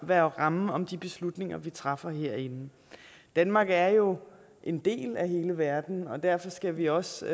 være rammen om de beslutninger vi træffer herinde danmark er jo en del af hele verden og derfor skal vi også